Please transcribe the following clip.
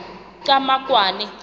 qhamakwane